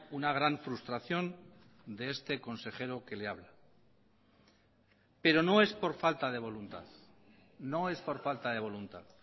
una gran frustración de este consejero que le habla pero no es por falta de voluntad no es por falta de voluntad